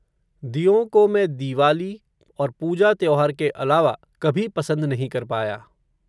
दियों को मैं दीवाली, और पूजा त्यौहार के अलावा, कभी पसंद नहीं कर पाया